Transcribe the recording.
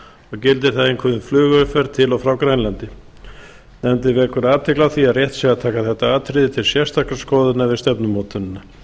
og gildir það einkum um flugumferð til og frá grænlandi nefndin vekur athygli á því að rétt sé að taka þetta atriði til sérstakrar skoðunar við stefnumótunina